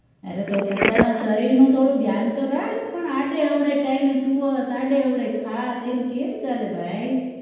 અરે તો પોતાના શરીરનું થોડું ધ્યાન તો રાખ પણ આડે અવડે time એ સુવેશ આડે અવડે ખાશ એમ કેમ ચાલે ભાઈ